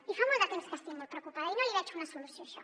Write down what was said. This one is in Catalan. i fa molt de temps que estic molt preocupada i no hi veig una solució a això